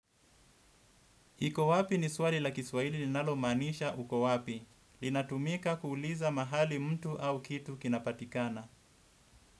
Iko wapi ni swali la kiswaili linalomaanisha uko wapi. Linatumika kuuliza mahali mtu au kitu kinapatikana.